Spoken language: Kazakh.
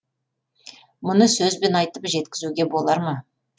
мұны сөзбен айтып жеткізуге болар ма